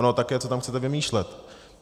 Ono také co tam chcete vymýšlet.